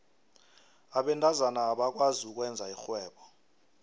abentazana abakwazi ukwenza irhwebo